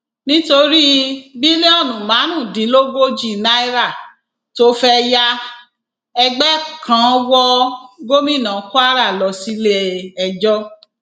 nítorí bílíọnù márùndínlógójì náírà tó fẹẹ yá ẹgbẹ kan wọ gómìnà kwara lọ síléẹjọ